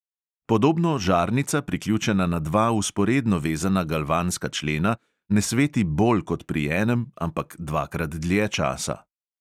Podobno žarnica, priključena na dva vzporedno vezana galvanska člena, ne sveti bolj kot pri enem, ampak dvakrat dlje časa.